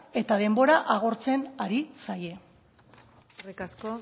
eta denbora agortzen ari zaie eskerrik asko